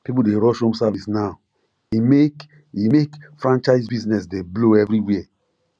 people dey rush home service now e make e make franchise business dey blow everywhere